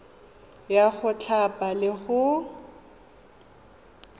ya go thapa le go